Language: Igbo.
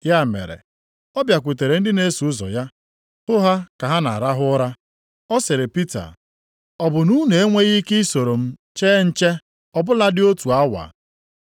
Ya mere, ọ bịakwutere ndị na-eso ụzọ ya, hụ ha ka ha na-arahụ ụra. Ọ sịrị Pita, “Ọ bụ na unu enweghị ike i soro m chee nche, ọ bụladị otu awa?